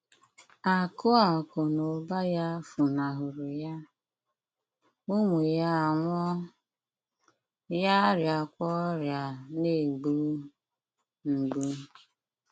Akụ̀ Akụ̀ na ụba ya funahụrụ ya, ụmụ ya anwụọ, ya arịakwa ọrịa na - egbu mgbu.